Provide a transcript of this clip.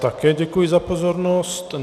Také děkuji za pozornost.